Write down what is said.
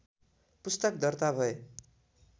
पुस्तक दर्ता भए